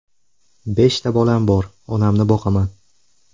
Beshta bolam bor, onamni boqaman.